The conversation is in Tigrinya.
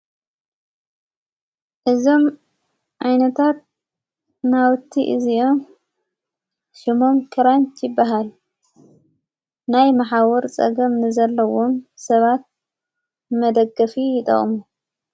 እዞም ኣይነታት ናውቲ እዙም ሽሙም ክራንት ይበሃል ናይ መሓዉር ጸገም ንዘለዉን ሰባት መደገፊ ይጠቁሙ።